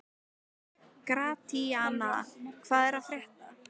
Gratíana, hvað er að frétta?